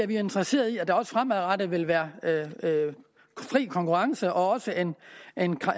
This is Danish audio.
vi interesserede i at der også fremadrettet vil være fri konkurrence og også en